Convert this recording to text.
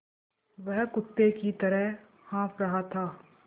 वह कुत्ते की तरह हाँफ़ रहा था